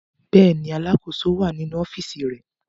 Bẹ́ẹ̀ ni, alákòóso wà nínú ọ́fíísì rẹ̀.